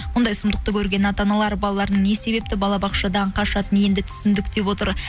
мұндай сұмдықты көрген ата аналар балаларының не себепті балабақшадан қашатынын енді түсіндік деп отыр